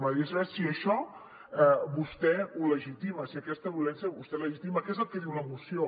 m’agradaria saber si això vostè ho legitima si aquesta violència vostè la legitima que és el que diu la moció